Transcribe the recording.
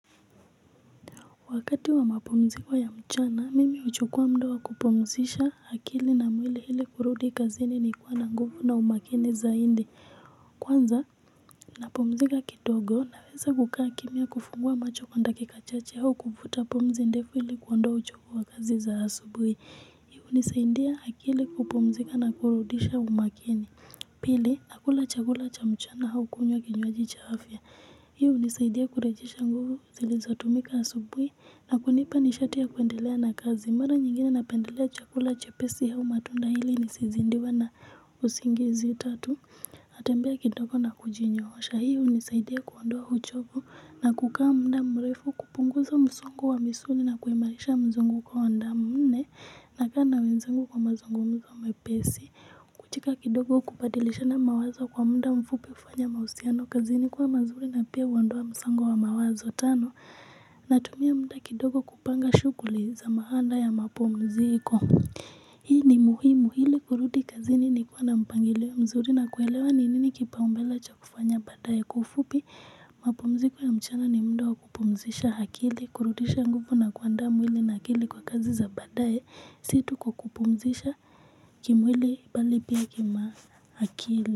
Wakati wa mapumziko ya mchana, mimi huchukua muda wa kupumzisha akili na mwili ili kurudi kazi ni kuwa na nguvu na umakini zaidi. Kwanza, napumzika kidogo naweza kukaa kimya kufungua macho kwa dakika chache au kuvuta pumzi ndefu ili kuondoa uchovu wa kazi za asubuhi. Hii hunisaidia akili kupumzika na kurudisha umakini. Pili, nakula chakula cha mchana au kunywa kinywaji cha afya. Hii hunisaidia kurejesha nguvu zilizotumika asubuhi na kunipa nishati ya kuendelea na kazi. Mara nyingine napendelea chakula chepesi au matunda ili nisizidiwe na usingizi tatu natembea kidogo na kujinyoosha hiyo hunisaidia kuondoa uchovu na kukaa muda mrefu kupunguza msongo wa misuli na kuimarisha mzunguko wa damu nne nakaa na wenzangu kwa mazungumzo mepesi. Cheka kidogo kubadilishana mawazo kwa muda mfupi hufanya mahusiano kazini kuwa mazuri na pia huondoa msongo wa mawazo tano. Natumia muda kidogo kupanga shughuli za baada ya mapumziko. Hii ni muhimu ili kurudi kazini nikiwa na mpangilio mzuri na kuelewa ni nini kipaumbele cha kufanya baadaye. Kwa ufupi mapumziko ya mchana ni muda kupumzisha akili kurudisha nguvu na kuandaa mwili na akili kwa kazi za baadaye. Si tu kwa kupumzisha kimwili bali pia kiakili.